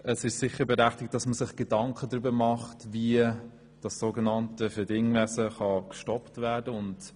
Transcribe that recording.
Es ist sicher berechtigt, sich Gedanken darüber zu machen, wie das so genannte «Verdingkinderwesen» gestoppt werden kann.